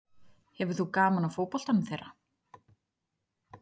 Hefur þú gaman af fótboltanum þeirra?